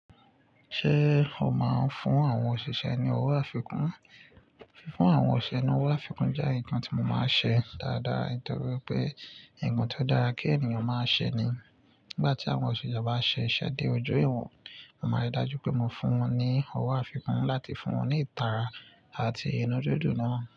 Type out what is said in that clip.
Ṣé o máa ń fún àwọn òṣìṣẹ́ ní ọwọ́ àfikún? Fún àwọn òṣìṣẹ́ ní ọwọ́ àfikún jẹ́ nǹkan tí mo máa ń ṣe dáadáa. Nítorí pé, nǹkan tó dára kí ènìyàn máa ṣe ni. Nígbà tí àwọn òṣìṣẹ́ bá ṣe iṣẹ́ dé ojú iwọ̀n, màá rí i dájú pé mo fún wọn ní ọwọ́ àfikún láti fún wọn ní ìtara àti inú dídùn náà.